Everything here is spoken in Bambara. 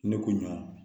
Ne ko ɲɔ